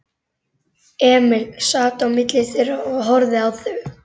Emil sat á milli þeirra og horfði á þau.